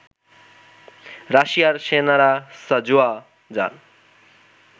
রাশিয়ার সেনারা সাঁজোয়া যান